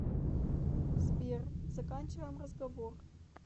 сбер заканчиваем разговор